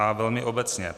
A velmi obecně.